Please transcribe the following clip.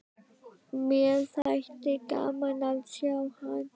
Mér þætti gaman að sjá hann.